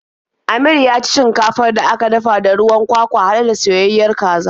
Amir ya ci shinkafar da aka dafa da ruwan kwakwa haɗe da soyayayen kaza.